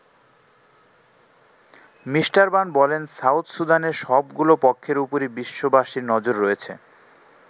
Me. Ban বলেন, South সুদানের সবগুলো পক্ষের ওপরই বিশ্ববাসীর নজর রয়েছে।